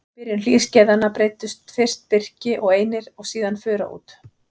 Í byrjun hlýskeiðanna breiddust fyrst birki og einir og síðan fura út.